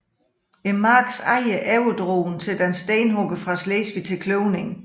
Markens ejer overdrog den til en stenhugger fra Slesvig til kløvning